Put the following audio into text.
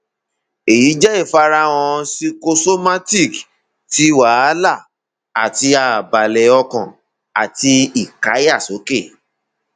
eyi jẹ ifarahan psychosomatic ti wahala ati ààbalẹ ọkàn àti ìkáyàsókè